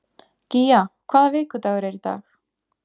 Gía, hvaða vikudagur er í dag?